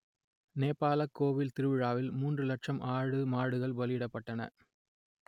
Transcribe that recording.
நேபாளக் கோவில் திருவிழாவில் மூன்று இலட்சம் ஆடு மாடுகள் பலியிடப்பட்டன